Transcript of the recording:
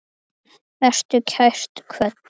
Vertu kært kvödd.